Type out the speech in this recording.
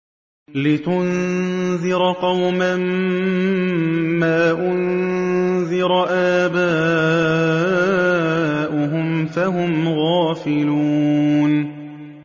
لِتُنذِرَ قَوْمًا مَّا أُنذِرَ آبَاؤُهُمْ فَهُمْ غَافِلُونَ